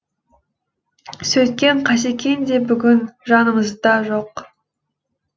сөйткен қасекең де бүгін жанымызда жоқ